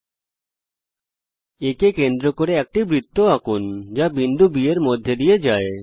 A কে কেন্দ্র করে একটি বৃত্ত আঁকুন যা বিন্দু B এর মধ্যে দিয়ে যায়